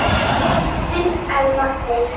Þinn Elmar Freyr.